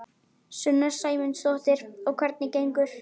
Sunna Sæmundsdóttir: Og hvernig gengur?